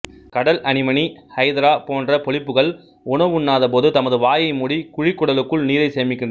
கடல் anemone hydra போன்ற பொலிப்புகள் உணவுண்ணாத போது தமது வாயை மூடி குழிக்குடலுக்குள் நீரைச் சேமிக்கின்றன